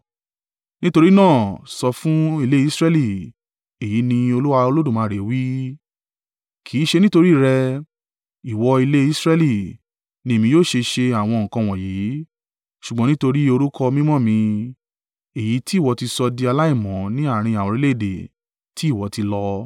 “Nítorí náà, sọ fún ilé Israẹli, ‘Èyí ni Olúwa Olódùmarè wí: Kì í ṣe nítorí rẹ, ìwọ ilé Israẹli, ni èmi yóò ṣe ṣe àwọn nǹkan wọ̀nyí, ṣùgbọ́n nítorí orúkọ mímọ́ mi, èyí ti ìwọ ti sọ di aláìmọ́ ní àárín àwọn orílẹ̀-èdè tí ìwọ ti lọ.